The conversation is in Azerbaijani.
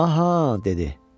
Aha, dedi.